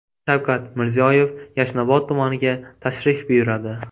Shavkat Mirziyoyev Yashnobod tumaniga tashrif buyuradi.